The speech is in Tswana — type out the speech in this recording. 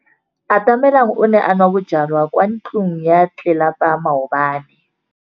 Atamelang o ne a nwa bojwala kwa ntlong ya tlelapa maobane.